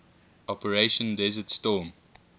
operation desert storm